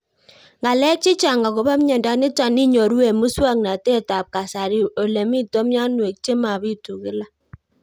Ng'alek chechang' akopo miondo nitok inyoru eng' muswog'natet ab kasari ole mito mianwek che mapitu kila